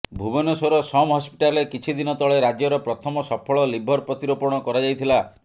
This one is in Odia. ଭୁବନେଶ୍ୱର ସମ୍ ହସ୍ପିଟାଲରେ କିଛି ଦିନ ତଳେ ରାଜ୍ୟର ପ୍ରଥମ ସଫଳ ଲିଭର ପ୍ରତିରୋପଣ କରାଯାଇଥିଲା